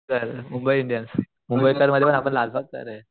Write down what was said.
तर मुंबई इंडियन्स मुंबईतला आपल्या लालबागचाय रे